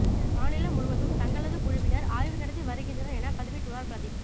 மாநிலம் முழுவதும் தங்களது குழுவினர் ஆய்வு நடத்தி வருகின்றனர் என பதிவிட்டுள்ளார் பிரதீப்